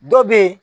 Dɔ bɛ yen